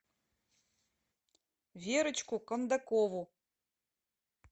верочку кондакову